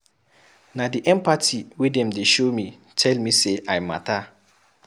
Na di empathy wey dem dey show me tell me sey I mata.